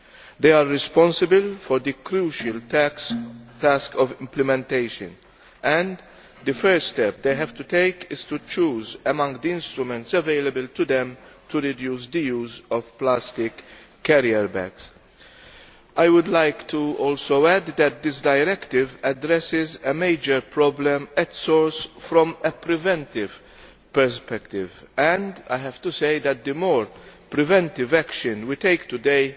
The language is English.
They are responsible for the crucial task of implementation. The first step they have to take is to choose from among the instruments available to them to reduce the use of plastic carrier bags. I would also like to add that this directive addresses a major problem at source from a preventive perspective, and I have to say that the more preventive action we take today